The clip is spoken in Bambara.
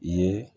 I ye